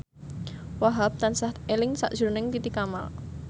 Wahhab tansah eling sakjroning Titi Kamal